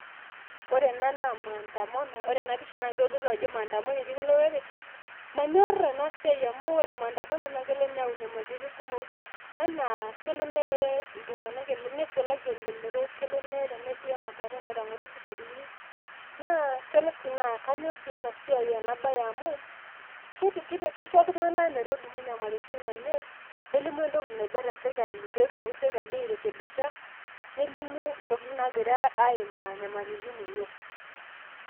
Ore ena naa maandamano, ore enapisha naa keitodolu ajo maandamano etii ele olorere. Manyorr enasia amu ore maandamano naa kelo neyau nyamalitin kumok, anaa kelo neye iltung'anak neisulaki elelero, kelo neye tenasiai emaandamano etang'oro sikarini naa kelo sii naa kanyorr sii ena bae amu keisho iltung'anak metolimu nyamalitin enye, nelimu entoki naiba teserkali peetumoki serkali airekebisha nelimu ntokitin naagira aimaa nyamalitin enye.